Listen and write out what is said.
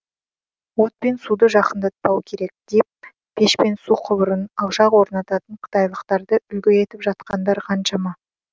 от пен суды жақындатпау керек деп пеш пен су құбырын алшақ орнататын қытайлықтарды үлгі етіп жатқандар қаншама